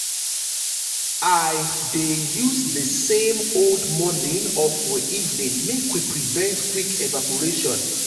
i dey use dey same household morining or for evening make we prevent quick evarporation